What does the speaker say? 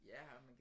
Ja og man kan